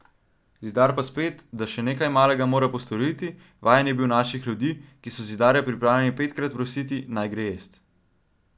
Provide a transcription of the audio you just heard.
Zidar pa spet, da še nekaj malega mora postoriti, vajen je bil naših ljudi, ki so zidarja pripravljeni petkrat prositi, naj gre jest.